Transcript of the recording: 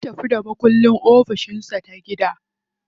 Ya tafi da makulli ofishin ta gida.